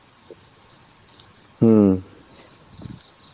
হম